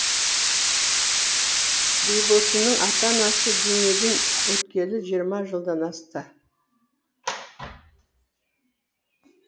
бибосынның ата анасы дүниеден өткелі жиырма жылдан асты